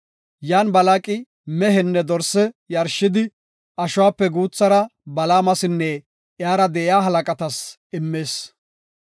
Yan Balaaqi mehenne dorse yarshidi, ashuwape guuthara Balaamasinne iyara de7iya halaqatas immis.